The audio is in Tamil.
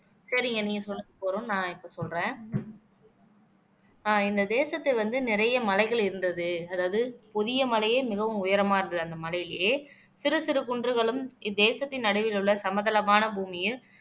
சரிங்க நீங்க சொன்னது போதும் நான் இப்ப சொல்றேன் ஆஹ் இந்த தேசத்துல வந்து நிறைய மலைகள் இருந்தது அதாவது பொதிய மலையே மிகவும் உயரமா இருந்தது அந்த மலையிலயே சிறு சிறு குன்றுகளும் இத்தேசத்தின் நடுவில் உள்ள சமதளமான பூமியில்